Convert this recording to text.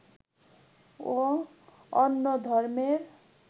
ও অন্য ধর্মের